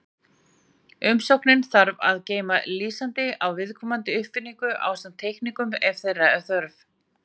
Umsóknin þarf að geyma lýsingu á viðkomandi uppfinningu, ásamt teikningum ef þeirra er þörf.